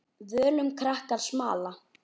Völum krakkar smala.